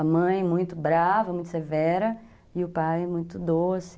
A mãe muito brava, muito severa, e o pai muito doce.